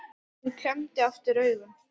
Hann klemmdi aftur augun